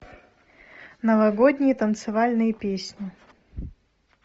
новогодние танцевальные песни